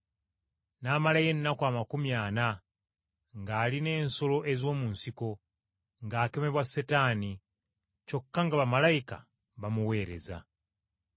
N’amalayo ennaku amakumi ana ng’ali n’ensolo ez’omu nsiko, ng’akemebwa Setaani, kyokka nga bamalayika bamuweereza.